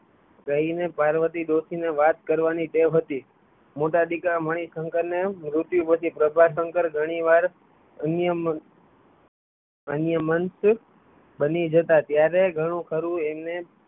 રહી ને પાર્વતી ડોશી ને વાત કરવા ની ટેવ હતી મોટા દીકરા મણિશંકર ને એમ મૃત્યુ પછી પ્રભાશંકર ઘણી વાર અન્યમંત બની જતાં ત્યારે ઘણું ખરું એમને